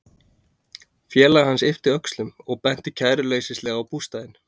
Félagi hans yppti öxlum og benti kæruleysislega á bústaðinn.